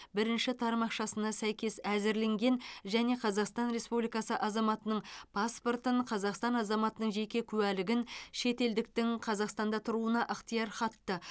бірінші тармақшасына сәйкес әзірленген және қазақстан республикасы азаматының паспортын қазақстан азаматының жеке куәлігін шетелдіктің қазақстанда тұруына ықтияр хатты